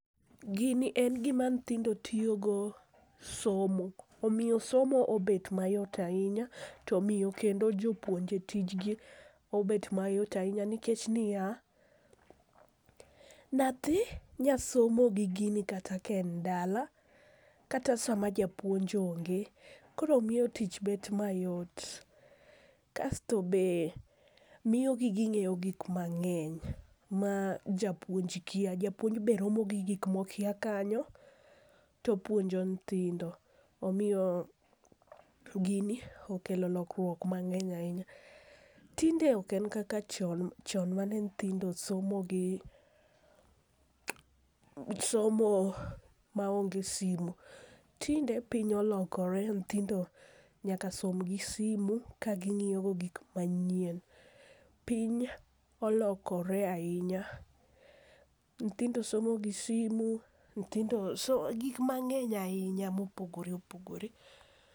Gini en gima nyithindo tiyogo somo , omiyo somo obet mayot ahinya, to omiyo kendo jopuonje tijgi obet mayot ahinya nikech ni ya, nyathi nya somo gigini kata ka en dala kata sama japuonj onge koro miyo tich bet mayot, kasto be miyogi gi ng'e gik mang'eny ma japuonj kia ,japuonj bende romo gi gik ma okia kanyo to opunjo nyithindo, omiyo gini okelo lokruok mang'eny ahinya. Tinde ok en kaka chon mane nyithindo somo gi somo ma ong'e simu, tinde piny olokore nyithindo nyaka som gi simu kaging'iyogo gik manyien, piny olokore ahinya, nyithindo somo gi simu nyithindo so gik mangeny ahinya mopoogore opogore.